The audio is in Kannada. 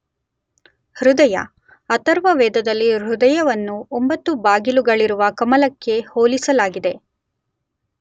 ಹೃದಯ, ಅಥರ್ವವೇದದಲ್ಲಿ ಹೃದಯವನ್ನು 9 ಬಾಗಿಲುಗಳಿರುವ ಕಮಲಕ್ಕೆ ಹೋಲಿಸಲಾಗಿದೆ.